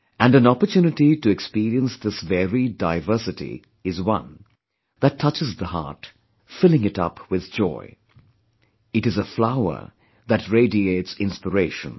And an opportunity to experience this varied diversity is one that touches the heart, filling it up with joy; it is a flower that radiates inspiration